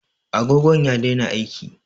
Agogon ya daina aiki